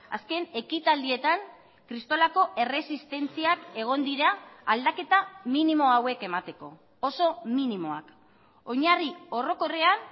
azken ekitaldietan kristolako erresistentziak egon dira aldaketa minimo hauek emateko oso minimoak oinarri orokorrean